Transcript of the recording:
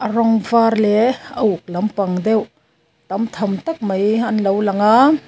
rawng var leh a uk lampang deuh tam tham tak mai an lo lang a.